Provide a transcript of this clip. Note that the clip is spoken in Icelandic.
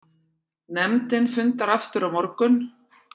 Nefndin fundar aftur á morgun